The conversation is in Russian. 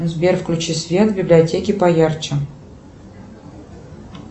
сбер включи свет в библиотеке поярче